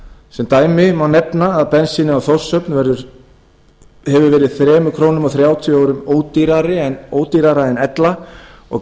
sem dæmi má nefna að bensínið á þórshöfn hefur verið þrjú komma þrjátíu krónum ódýrara en ella og